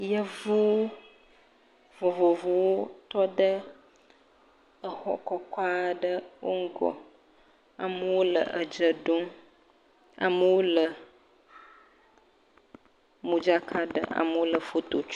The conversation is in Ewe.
Yevu vovovowo tɔ ɖe exɔ kɔkɔ aɖe ƒe ŋgɔ, amewo le edze ɖom, amewo le modzaka ɖem, amewo le foto tsom..